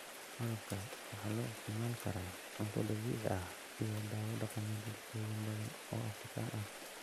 Malabka waxaa loo isticmaali karaa cunto dabiici ah iyo dawo dhaqameed bulshooyin badan oo Afrikaan ah.